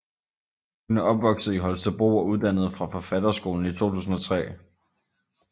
Hun er opvokset i Holstebro og uddannet fra Forfatterskolen 2003